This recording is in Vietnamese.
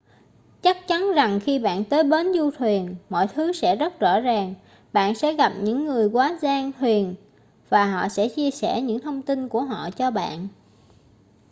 chắc chắn rằng khi bạn tới bến du thuyền mọi thứ sẽ rất rõ ràng bạn sẽ gặp những người quá giang thuyền và họ sẽ chia sẻ những thông tin của họ cho bạn